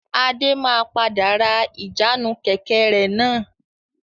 Adé máa padà ra ìjánu Kẹ̀kẹ́ rẹ náà.